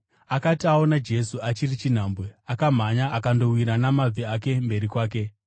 Akati aona Jesu achiri chinhambwe, akamhanya akandowira namabvi ake mberi kwake.